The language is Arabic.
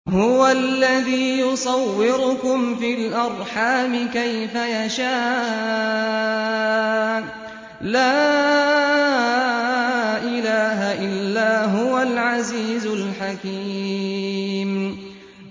هُوَ الَّذِي يُصَوِّرُكُمْ فِي الْأَرْحَامِ كَيْفَ يَشَاءُ ۚ لَا إِلَٰهَ إِلَّا هُوَ الْعَزِيزُ الْحَكِيمُ